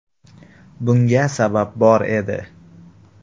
Bunga sabab bor edi.